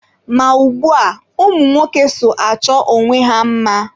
Ma ugbua, ụmụ nwoke so achọ onwe ha mma